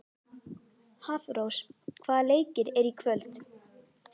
Hafrós, hvaða leikir eru í kvöld?